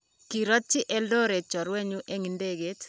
kirotyi Eldoret chorwenyu eng' ndege.